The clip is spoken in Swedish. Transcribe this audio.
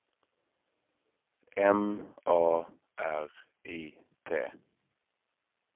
M A R I T